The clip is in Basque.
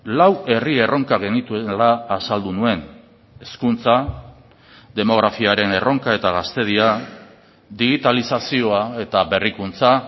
lau herri erronka genituela azaldu nuen hezkuntza demografiaren erronka eta gaztedia digitalizazioa eta berrikuntza